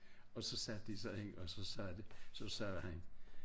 Og så satte de sig ind og så sagde de så sagde han